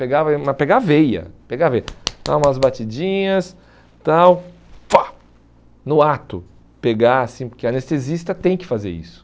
Pegava mas pegar a veia, pegar a veia, dar umas batidinhas, tal no ato, pegar assim, porque anestesista tem que fazer isso.